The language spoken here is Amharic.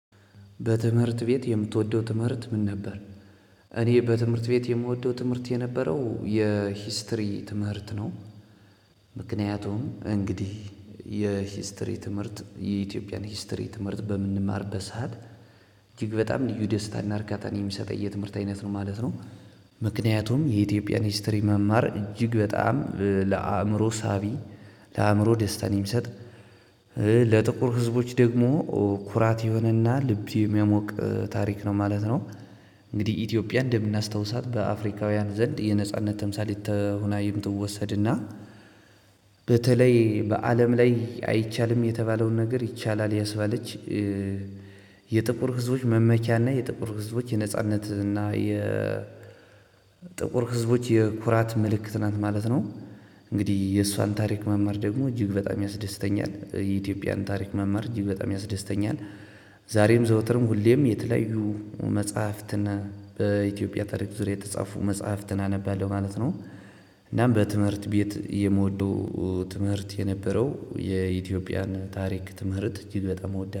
በትምህርት ቤት የምትወደው ትምህርት ምን ነበር? እኔ በትምህርት ቤት የምወደው ትምህርት የነበረው የሂስትሪ ትምህርት ነው። ምክንያቱም እንግዲህ የሂስትሪ ትምህርት የኢትዮጵያን ሂስትሪ ትምህርት በምንማር ሰዓት እጅግ በጣም ልዩ ደስታን እርካታን የሚሰጠኝ የትምህርት አይነት ነው ማለት ነው። ምክንያቱም የኢትዮጵያን ሂስትሪ መማር እጅግ በጣም ለአእምሮ ሳቢ ለአእምሮ ደስታን የሚሰጥ። ለጥቁር ህዝቦች ደግሞ ኩራት የሆነና ልብ የሚያሞቅ ታሪክ ነው ማለት ነው። እንግዲህ ኢትዮጵያ እንደምናስታውሳት በአፍሪካውያን ዘንድ የነጻነት ተምሳሌት ሆና የምትወሰድና በተለይ በአለም ላይ አይቻልም የተባለውን ነገር ይቻላል ያስበለች። የጥቁር ህዝቦች መመኪያና የጥቁር ህዝቦች የነጻነትና የ ጥቁር ህዝቦች የኩራት ምልክት ናት ማለት ነው። እንግዲህ የሷን ታሪክ መማር ደግሞ እጅግ በጣም ያስደስተኛል የኢትዮጵያን ታሪክ መማር እጅግ በጣም ያስደስተኛል። ዛሬም ዘውትርም ሁሌም የተለያዩ መጽሐፍትን በኢትዮጵያ ታሪክ ዙሪያ የተጻፉ መጽሐፍትን አነባለሁ ማለት ነው። እናም በትምህርት ቤት የምወደው ትምህርት የነበረው የኢትዮጵያን ታሪክ ትምህርት እጅግ በጣም እወዳ